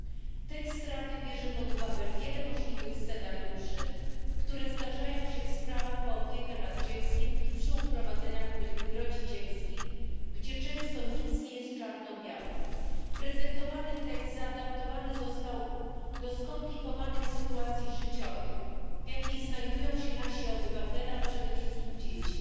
W tekście Rady wzięto pod uwagę wiele możliwych scenariuszy, które zdarzają się w sprawach o opiekę nad dzieckiem i przy uprowadzeniach rodzicielskich, gdzie często nic nie jest czarno białe. Prezentowany tekst zaadaptowany został do skomplikowanych sytuacji życiowych, w jakich znajdują się nasi obywatele, a przede wszystkim dzieci.